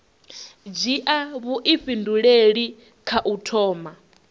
dzhia vhuifhinduleli kha u thoma